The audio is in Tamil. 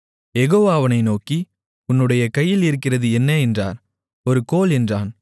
யெகோவா அவனை நோக்கி உன்னுடைய கையில் இருக்கிறது என்ன என்றார் ஒரு கோல் என்றான்